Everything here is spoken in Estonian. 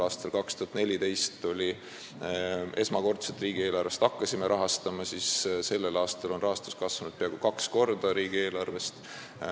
Aastal 2014 hakkasime me seda esimest korda riigieelarvest rahastama ja sellel aastal on rahastus riigieelarvest kasvanud peaaegu kaks korda.